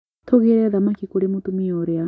Tũgĩre thamaki kwĩ mũtumia ũrĩa